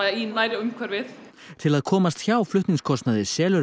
í nærumhverfið til að komast hjá flutningskostnaði selur